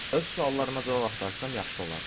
Öz suallarıma cavab axtarsam yaxşı olardı.